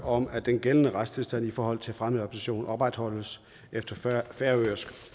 om at den gældende retstilstand i forhold til fremmedadoption opretholdes efter færøsk